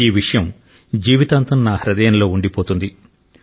ఈ విషయం జీవితాంతం నా హృదయంలో ఉండిపోతుంది